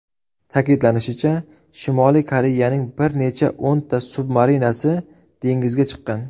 Ta’kidlanishicha, Shimoliy Koreyaning bir necha o‘nta submarinasi dengizga chiqqan.